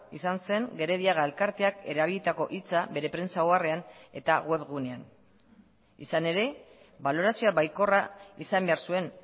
izan zen gerediaga elkarteak erabilitako hitza bere prentsa oharrean eta web gunean izan ere balorazioa baikorra izan behar zuen